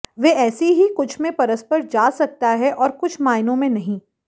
वे ऐसी ही कुछ में परस्पर जा सकता है और कुछ मायनों में नहीं